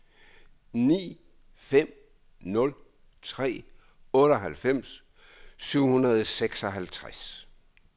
ni fem nul tre otteoghalvfems syv hundrede og seksoghalvtreds